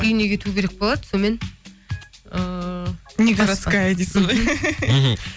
үйіне кету керек болады сонымен ыыы не городоская дейсіз ғой мхм